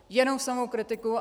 Jenom samou kritiku.